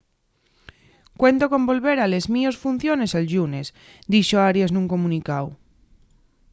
cuento con volver a les mios funciones el llunes” dixo arias nun comunicáu